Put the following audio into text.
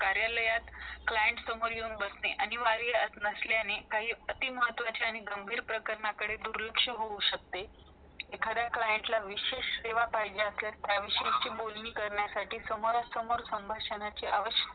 कार्यालत client सोबत येऊन बसने आणि घरी असल्याने काही अति महत्त्वाचे आणि गंभीर प्रकरणे करे दूर लक्ष हो शकते एखादा client ला त्याशी विशेष सेवा आशेळ तेवा विशेष बोलणी करण्यासाठी समोरा -समोर असण्याची आवश्यकता